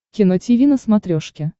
кино тиви на смотрешке